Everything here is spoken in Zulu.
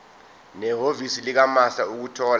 nehhovisi likamaster ukuthola